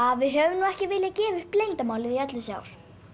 við höfum ekki viljað gefa upp leyndarmálið í öll þessi ár